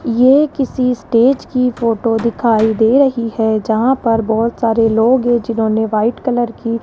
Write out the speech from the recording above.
ये किसी स्टेज की फोटो दिखाई दे रही है जहां पर बहुत सारे लोग हैं जिन्होंने व्हाइट कलर की --